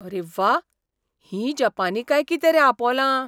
अरे व्वा! हीं जपानी काय कितें रे आपोलां?